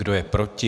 Kdo je proti?